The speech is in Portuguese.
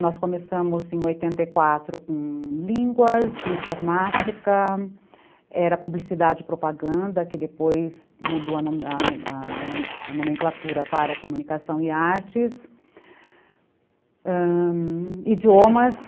Nós começamos em oitenta e quatro com línguas, informática, era publicidade e propaganda, que depois mudou a a a nomenclatura para comunicação e artes, ãh... idiomas.